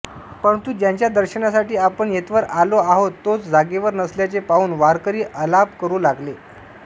परंतु ज्याच्या दर्शनासाठी आपण येथवर आलो आहोत तोच जागेवर नसल्याचे पाहुन वारकरी आलाप करु लागले